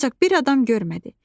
Ancaq bir adam görmədi.